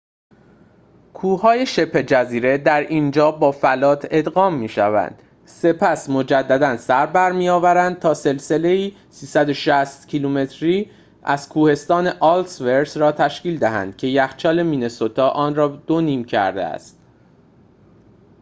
کوه‌های شبه جزیره در اینجا با فلات ادغام می‌شوند سپس مجدداً سربرمی‌آورند تا سلسله‌ای ۳۶۰ کیلومتری از کوهستان الس‌ورث را تشکیل دهند که یخچال مینه‌سوتا آن را دو نیم کرده است